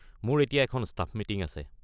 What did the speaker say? মোৰ এতিয়া এখন ষ্টাফ মিটিং আছে।